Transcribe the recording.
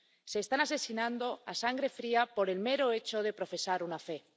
Se les está asesinando a sangre fría por el mero hecho de profesar una fe.